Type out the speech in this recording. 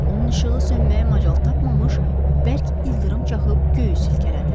Onun işığı sönməyə macal tapmamış, bərk ildırım çaxıb göyü silkələdi.